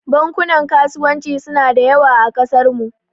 Bankunan kasuwanci suna da yawa a kasarmu.